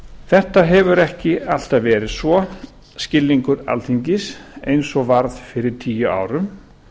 þetta hefur ekki alltaf verið svo skilningur alþingis eins og var fyrir tíu árum